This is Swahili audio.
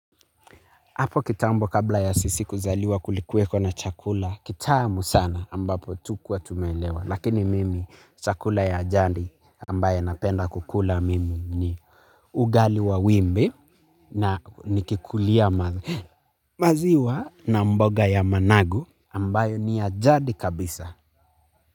Hapo kitambo kabla ya sisi kuzaliwa kulikuweko na chakula. Kitamu sana ambapo hatukuwa tumeelewa. Lakini mimi chakula ya jadi ambaye napenda kukula mimi ni ugali wa wimbi na nikikulia maziwa na mboga ya managu ambayo ni ya jadi kabisa.